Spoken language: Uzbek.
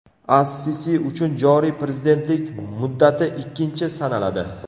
As-Sisi uchun joriy prezidentlik muddati ikkinchi sanaladi.